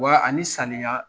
Wa ani saniya